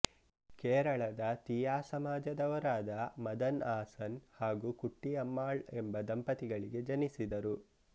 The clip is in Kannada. ಕೇರಳದ ತೀಯಾ ಸಮಾಜ ದವರಾದ ಮದನ್ ಆಸನ್ ಹಾಗೂ ಕುಟ್ಟಿ ಅಮ್ಮಾಳ್ ಎಂಬ ದಂಪತಿಗಳಿಗೆ ಜನಿಸಿದರು